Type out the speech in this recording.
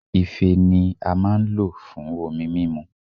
Ife ni a maa n lo fun omi mimu